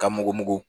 Ka mugu